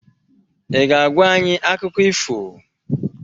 Ị ga-agwa anyị akụkọ ifo?